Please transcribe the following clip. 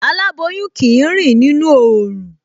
Aláboyún kì í rìn nínú oòrùn